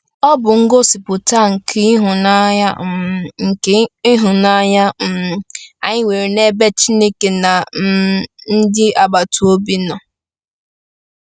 Ọ bụ ngosipụta nke ịhụnanya um nke ịhụnanya um anyị nwere n’ebe Chineke na um ndị agbata obi nọ.